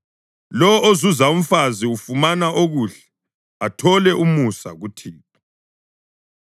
Lowo ozuza umfazi ufumana okuhle, athole umusa kuThixo.